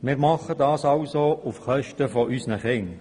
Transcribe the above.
Wir tun dies somit auf Kosten unserer Kinder.